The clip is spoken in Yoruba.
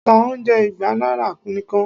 ta oúnjẹ igba naira nikan!